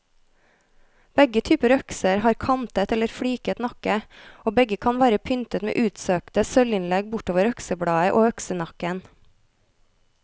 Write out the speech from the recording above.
Begge typer økser har kantet eller fliket nakke, og begge kan være pyntet med utsøkte sølvinnlegg bortover øksebladet og øksenakken.